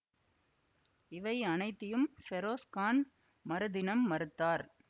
இவை அனைத்தையும் ஃபெரோஸ் கான் மறுதினம் மறுத்தார்